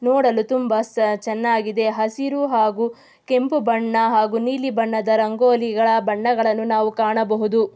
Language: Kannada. ನೋಡಲು ತುಂಬಾ ಸ ಚನ್ನಾಗಿದೆ ಹಸಿರು ಹಾಗು ಕೆಂಪು ಬಣ್ಣ ಹಾಗು ನೀಲಿ ಬಣ್ಣದ ರಂಗೋಲಿಗಳ ಬಣ್ಣಗಳನ್ನು ನಾವು ಕಾಣಬಹುದು.